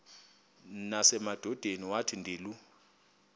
nasemadodeni wathi ndilu